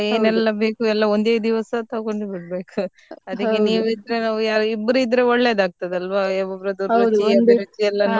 ಏನೆಲ ಬೇಕು ಎಲ್ಲ ಒಂದೇ ದಿವಸ ತಗೊಂಡ್ ಬಿಡ್ಬೇಕು ಇಬ್ರು ಇದ್ರೆ ಒಳ್ಳೇದು ಆಗ್ತದೆ ಅಲ್ವಾ ರುಚಿ ಎಲ್ಲ ನೋಡಿ.